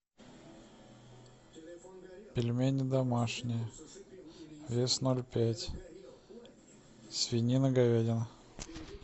пельмени домашние вес ноль пять свинина говядина